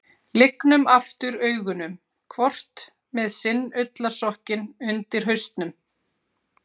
Lygnum aftur augunum, hvort með sinn ullarsokkinn undir hausnum.